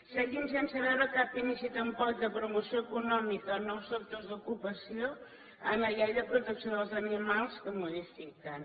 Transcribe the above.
seguim sense veure cap inici tampoc de promoció econòmica en nous sectors d’ocupació en la llei de protecció dels animals que modifiquen